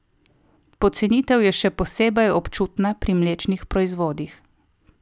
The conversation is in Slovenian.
Pocenitev je še posebej občutna pri mlečnih proizvodih.